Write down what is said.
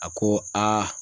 A ko